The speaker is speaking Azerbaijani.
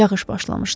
Yağış başlamışdı.